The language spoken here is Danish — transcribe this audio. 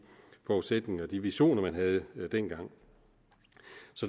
forudsætninger og de visioner man havde dengang